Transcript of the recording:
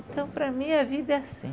Então para mim a vida é assim.